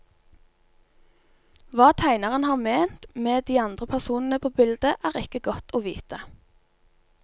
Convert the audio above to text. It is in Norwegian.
Hva tegneren har ment med de andre personene på bildet, er ikke godt å vite.